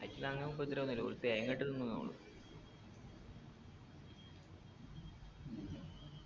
അയിറ്റിങൾ അങ്ങന ഉപദ്രവൊന്നുല്ല ഓര് തേങ്ങ കട്ട് തിന്നുന്നെ ഉള്ളൂ